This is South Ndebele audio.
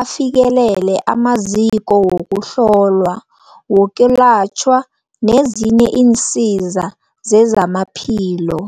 afikelele amaziko wokuhlolwa, wokwelatjhwa nezinye iinsiza zezamaphilo.